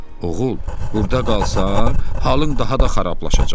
Oğul, burda qalsan, halın daha da xarablaşacaq.